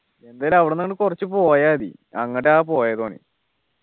എന്തായാലും അവിടുന്ന് അങ്ങോട്ട് കുറച്ചു പോയ മതി അങ്ങോട്ട പോയത് ഓനി